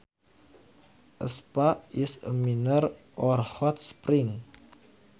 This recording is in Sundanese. A spa is a mineral or hot spring